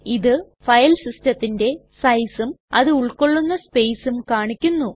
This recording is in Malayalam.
ഇത് ഫയൽ സിസ്ടത്തിന്റെ സൈസും അത് ഉൾകൊള്ളുന്ന സ്പേസും കാണിക്കുന്നു